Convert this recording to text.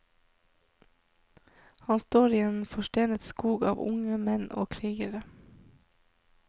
Han står i en forstenet skog av unge menn og krigere.